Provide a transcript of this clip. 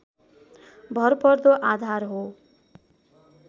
भरपर्दो आधार हो